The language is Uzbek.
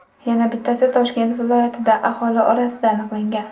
Yana bittasi Toshkent viloyatida aholi orasida aniqlangan.